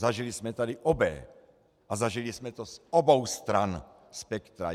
Zažili jsme tady obé a zažili jsme to z obou stran spektra.